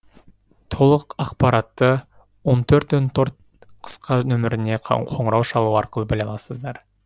толық ақпаратты он төрт он төрт қысқа нөміріне қоңырау шалу арқылы біле аласыздар